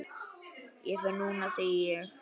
Ég fer núna, segi ég.